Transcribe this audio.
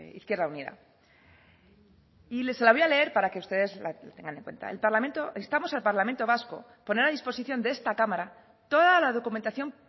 izquierda unida y se la voy a leer para que ustedes la tengan en cuenta instamos al parlamento vasco poner a disposición de esta cámara toda la documentación